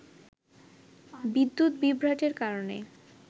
বিদ্যুৎ বিভ্রাটের কারণে